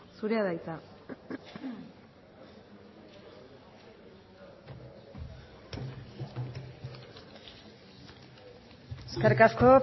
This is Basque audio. zurea da hitza eskerrik asko